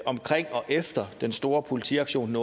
omkring og efter den store politiaktion